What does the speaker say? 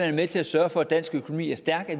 er med til at sørge for at dansk økonomi er stærk